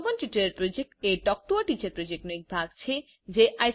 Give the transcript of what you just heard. spoken tutorial project એ talk to a teacher પ્રોજેક્ટનો એક ભાગ છે